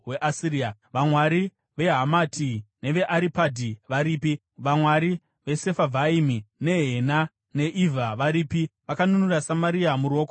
Vamwari veHamati neveAripadhi varipi? Vamwari veSefarivhaimi, neHena neIvha varipi? Vakanunura Samaria muruoko rwangu here?